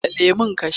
Buɗe lemon ka sha!